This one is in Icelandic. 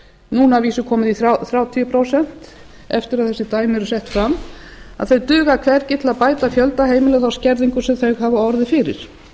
núna að vísu komið í þrjátíu prósent eftir að þessi dæmi eru sett fram þau duga hvergi til að bæta fjölda heimila á skerðingu sem þau hafa orðið fyrir